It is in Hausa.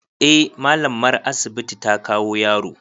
Eh mallamar asibiti ta kawo yaro.